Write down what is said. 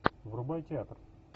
врубай театр